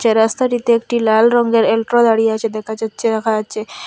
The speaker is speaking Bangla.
এ রাস্তাটিতে একটি লাল রঙ্গের এল্ট্রা দাঁড়িয়ে আছে দেখা যাচ্ছে রাখা আছে।